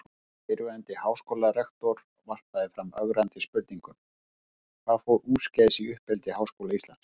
Og fyrrverandi háskólarektor varpaði fram ögrandi spurningum: Hvað fór úrskeiðis í uppeldi Háskóla Íslands?